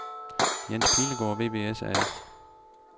Jens Pilegaard VVS A/S